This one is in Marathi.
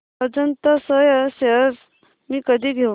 अजंता सोया शेअर्स मी कधी घेऊ